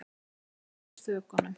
Við yfir þökunum.